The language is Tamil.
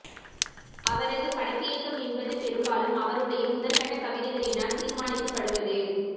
அவரது படைப்பியக்கம் என்பது பெரும்பாலும் அவருடைய முதற்கட்டக் கவிதைகளினால் தீர்மானிக்கப்படுவது